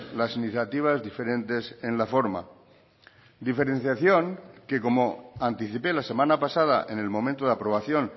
las iniciativas diferentes en la forma diferenciación que como anticipé la semana pasada en el momento de aprobación